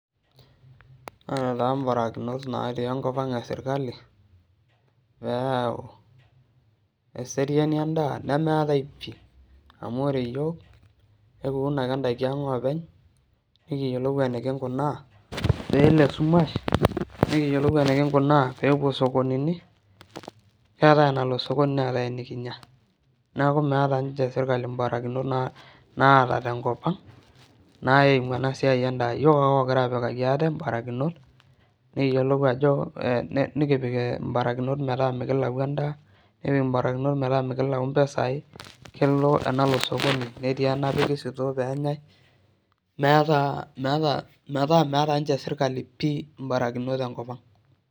Ore taa mbarakinot natiii nkopang esirkali peyau eseriani endaa, nemeetae pii amu ore iyook ekiun ake indaki aang' oopeny, nikiyiolou enikinkunaa pe esumash nikiyiolou enikinkunaa peepuo esokononi, neatae enalo sokoni ,neatae enikinya. Naaku meeta ninche sirkali mbarakinot naata te nkopang neimu enda siai naaku mokore aapikaki ate mbarakinot, nikiyiolou ajo, nikipik imbarakinot metaa mikilau endaa, nikipik imbarakinot metaa mikilau impisai, kelo enalo sokoni, netii enapiki sutoo peenyai, meatae metaa meata ninche sirkali imbarakinot te nkopang.